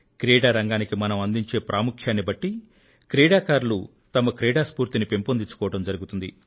క్రీడా రంగానికి మనం అందించే ప్రాముఖ్యాన్ని బట్టి క్రీడాకారులు తమ క్రీడా స్ఫూర్తిని పెంపొందించుకోవడం జరుగుతుంది